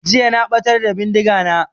Jiya na ɓatar da bindiga na